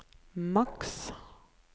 maks